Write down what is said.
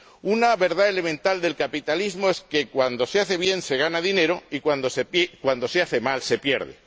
Una verdad elemental del capitalismo es que, cuando se hace bien, se gana dinero y, cuando se hace mal, se pierde.